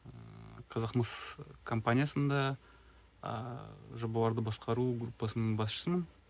ыыы казахмыс компаниясында ыыы жобаларды басқару группасының басшысымын